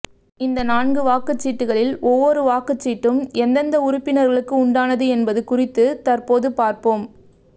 இந்த நான்கு வாக்கு சீட்டுகளில் ஒவ்வொரு வாக்குச் சீட்டும் எந்தெந்த உறுப்பினர்களுக்கு உண்டானது என்பது குறித்து தற்போது பார்ப்போம்